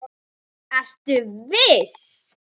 Ertu viss?